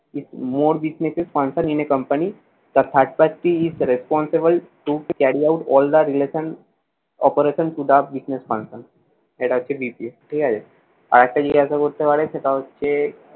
its more businesses in a company. the third party is responsible to carry out all the relation operation to the business function এটা হচ্ছে BPO ঠিক আছে? আরেকটা জিজ্ঞাসা করতে পারে, সেটা হচ্ছে,